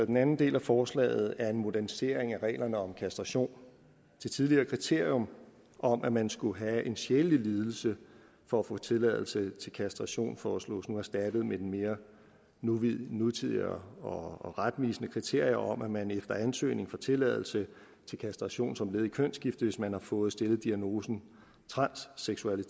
den anden del af forslaget er en modernisering af reglerne om kastration det tidligere kriterium om at man skulle have en sjælelig lidelse for at få tilladelse til kastration foreslås nu erstattet med det mere nutidig nutidig og og retvisende kriterium om at man efter ansøgning får tilladelse til kastration som led i et kønsskifte hvis man har fået stillet diagnosen transseksuel